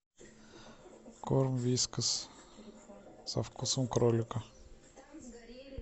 корм вискас со вкусом кролика